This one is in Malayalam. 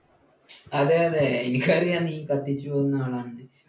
അതേ അതെ എനിക്കറിയാം നീ കത്തിച്ചു പോകുന്ന ആളാണെന്ന്